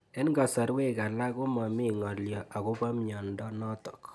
Eng'kasarwek alak ko mami ng'alyo akopo miondo notok